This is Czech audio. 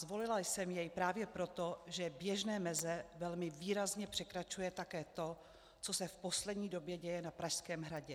Zvolila jsem jej právě proto, že běžné meze velmi výrazně překračuje také to, co se v poslední době děje na Pražském hradě.